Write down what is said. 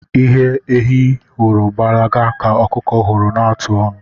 Ihe ehi hụrụ gbalaga ka ọkụkọ hụrụ na-atụ onu.